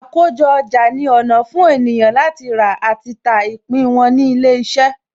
Àkójọ ọjà ni ọ̀nà fún ènìyàn láti rà àti ta ìpín wọn ní ilé iṣẹ́.